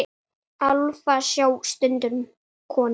Álfa sjá stundum konur.